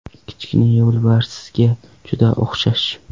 Kichkina yo‘lbarsga juda o‘xshash.